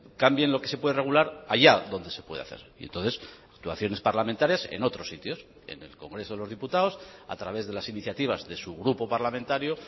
cambien lo que se puede regular allá donde se puede hacer y entonces actuaciones parlamentarias en otros sitios en el congreso de los diputados a través de las iniciativas de su grupo parlamentario